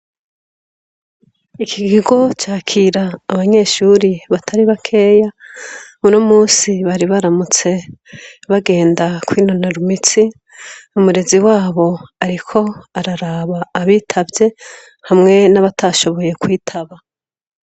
Iki gigo cakira abanyeshuri batari bakeya muno musi bari baramutse bagenda kwinonarumitsi umurezi wabo, ariko araraba abitavye hamwe n'abatashoboye kwitaba.